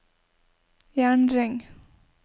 jernring